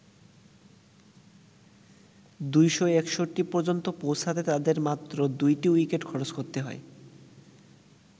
২৬১ পর্যন্ত পৌঁছাতে তাদের মাত্র দুটি উইকেট খরচ করতে হয়।